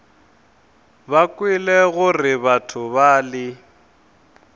o kwele gore batho bale